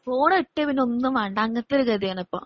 phone കിട്ടിയാ പിന്നെ ഒന്നുംവേണ്ടങ്ങ് അങ്ങനത്തെയൊരു ഗതിയാണിയിപ്പോ